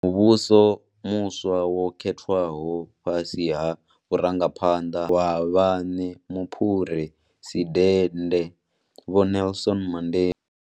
Muvhuso muswa wa khethwaho fhasi ha vhurangaphanḓa ha munna wa vhaṋe muphuresidende Vho Nelson Mandela.